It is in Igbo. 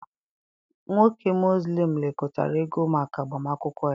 Nwoke Muslim lekọtara ego maka agbamakwụkwọ ya.